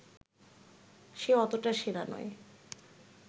সে অতটা সেরা নয়